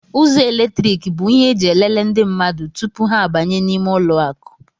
Ụzọ eletriki bụ ihe eji elele ndị mmadụ tụpụ ha abanye n' ímé ụlọ akụ.